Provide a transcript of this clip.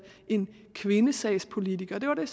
en kvindesagspolitiker det var det